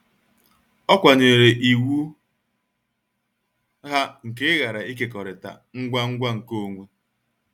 Ọ kwanyeere iwu ha nke ịghara ịkekọrịta ngwa ngwa nkeonwe.